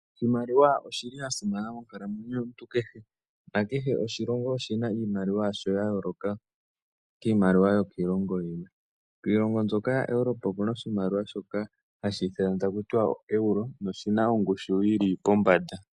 Oshimaliwa oshi li sha simana monkalamwenyo yomuntu kehe nakehe oshilongo oshi na iimaliwa ya sho ya yooloka kiimaliwa yokiilongo yi ili. Kiilongo mbyoka ya Europa oku na oshimaliwa shoka hashi ithanwa taku tiwa ooeuro noshi na ongushu yi li pombanda.